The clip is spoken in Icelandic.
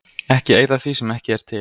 Ekki eyða því sem ekki er til.